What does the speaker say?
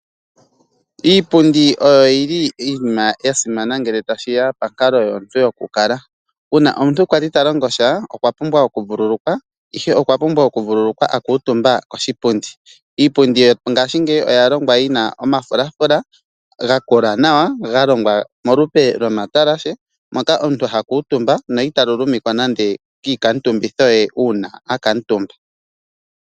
Iipundi oya simana ngele tashi ya ponkalo yomuntu yokukala. Uuna omuntu a li ta longosha, okwa pumbwa okuvululukwa, ihe okwa pumbwa okuvululukwa a kuutumba koshipundi. Iipundi yongaashingeyi oya longwa yi na omafulafula ga kola nawa ga longwa molupe lomatalashe moka omuntu ha kuutumba na ita luluma nando kiikuutumbitho ye uuna a kuutumba.